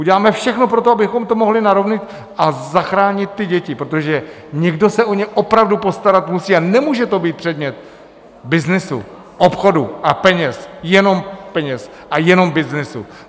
Uděláme všechno pro to, abychom to mohli narovnat a zachránit ty děti, protože někdo se o ně opravdu postarat musí a nemůže to být předmět byznysu, obchodu a peněz, jenom peněz a jenom byznysu.